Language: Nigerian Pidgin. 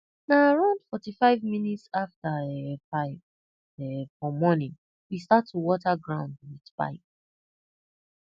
na around forty five minutes after um five um for morning we start to water ground with pipe